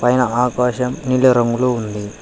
పైన ఆకాశం నీలి రంగులో ఉంది.